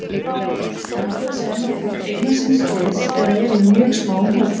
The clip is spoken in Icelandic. Þær halda sig annað hvort einar síns liðs eða eru í mjög smáum hópum.